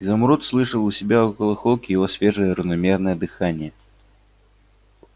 изумруд слышал у себя около холки его свежее равномерное дыхание